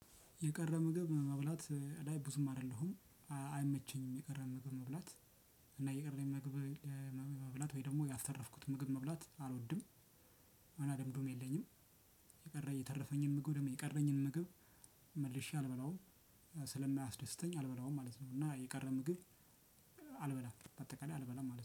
የቀረ ምግብ መብላት ላይ ብዙም አይደለሁም። አይመቸኝም የቀረ ምግብ መብላት። እና የቀረ ምግብ ለ መ መብላት ወይም ደግሞ ያስተረፍኩትን ምግብ መብላት አልወድም። ልምድም የለኝም። የቀረኝ የተረፈኝን ምግብ ወይም የቀረኝን ምግብ። መልሼ አልበላውም ስለማያስደስተኝ አልበላውም ማለት ነው። እና የቀረ ምግብ። አልበላም በአጠቃላይ አልበላም ማለት ነው